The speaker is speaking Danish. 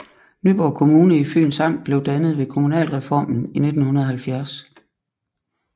Nyborg Kommune i Fyns Amt blev dannet ved kommunalreformen i 1970